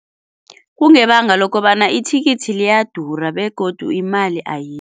Kungebanga lokobana ithikithi liyadura begodu imali